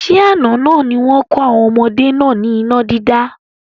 Ṣé àna ni wọn kọ́ àwọn ọmọdé náà ni iná dídá?